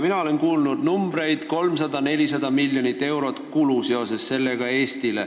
Mina olen kuulnud, et seoses sellega tuleb Eestil kulutada 300–400 miljonit eurot.